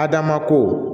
Adama ko